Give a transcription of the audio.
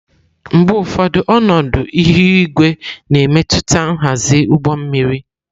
Mgbe ụfọdụ, ọnọdụ ihu igwe na-emetụta nhazi ụgbọ mmiri.